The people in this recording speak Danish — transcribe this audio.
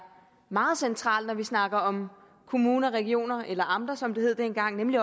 meget centralt når vi snakker om kommuner og regioner eller amter som det hed dengang nemlig